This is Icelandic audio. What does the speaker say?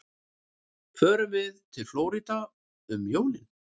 Förum við til Flórída um jólin?